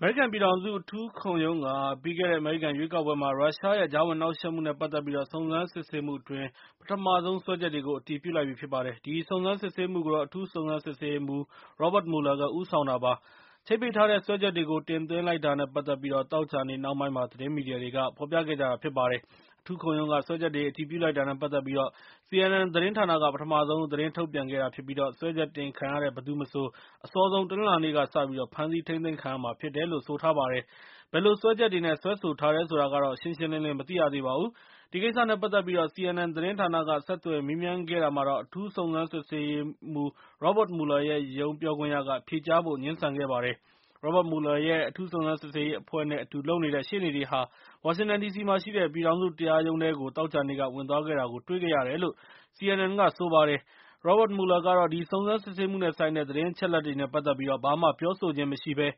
အမေရိကန်ပြည်ထောင်စု အထူးခုံးရုံးက ပြီးခဲ့တဲ့အမေရိကန်ရွေးကောက်ပွဲမှာ ရုရှားရဲ့ သြဇာလွှမ်းမိုးမှု နဲ့ ပတ်သက်ပြီး စုံစမ်းစစ်ဆေးမှုအတွင်း ပထမဆုံးစွဲချက်တွေကို အတည်ပြုလိုက်ပါတယ်။ ဒီစုံစမ်းစစ်ဆေးမှုကို အထူးစုံစမ်းစစ်ဆေးရေးမှူး Robert Mueller ဦးဆောင်တာဖြစ်ပါတယ်။ ချိတ်ပိတ်ထားတဲ့ စွဲချက်တွေကို တင်သွင်းလိုက်တာနဲ့ ပတ်သက်ပြီး သောကြာနေ့နှောင်းပိုင်းမှာ သတင်းမီဒီယာတွေက ဖော်ပြခဲ့ကြတာဖြစ်ပါတယ်။ အထူးခုံရုံးက စွဲချက်တွေကို အတည်ပြုလိုက်တာနဲ့ ပတ်သက်ပြီး CNN သတင်းဌာနက ပထမဆုံး သတင်းထုတ်ပြန်ခဲ့တာဖြစ်ပြီး၊ စွဲချက်တင်ခံရတဲ့ ဘယ်သူမဆို အစောဆုံးတနင်္လာနေ့က စပြီး ဖမ်းဆီးထိန်းသိမ်းခံရမှာဖြစ်တယ်လို့လို့ ဆိုထားပါတယ်။ ဘယ်လိုစွဲချက်တွေနဲ့ စွဲဆိုထားတယ်ဆိုတာကတော့ ရှင်းရှင်းလင်းလင်း မသိရသေးပါဘူး။ ဒီကိစ္စနဲ့ ပတ်သက်ပြီး CNN သတင်းဌာနက ဆက်သွယ်မေးမြန်းခဲ့တာမှာတော့ အထူးစုံစမ်းဆေးရေးမှူး Robert Mueller ရုံးပြောခွင့်ရက ဖြေကြားဖို့ ငြင်းဆန်ခဲ့ပါတယ်။ Robert Mueller ရဲ့ အထူးစုံစမ်းစစ်ဆေးရေးအဖွဲ့နဲ့ အတူလုပ်နေတဲ့ ရှေ့နေတွေဟာ ဝါရှင်တန်ဒီစီမှာရှိတဲ့ ပြည်ထောင်စုတရားရုံးထဲကို သောကြာနေ့က ဝင်သွားတာကိုတွေ့ခဲ့၇တယ်လို့ CNN က ဆိုပါတယ်။ Robert Mueller ကတော့ ဒီစုံစမ်းစစ်ဆေးမှုနဲ့ဆိုင်တဲ့ သတင်းအချက်အလက်တွေနဲ့ ပတ်သက်ပြီး ဘာမှ ပြောဆိုခြင်းမရှိဘဲ